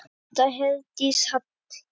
Ásta Herdís Hall.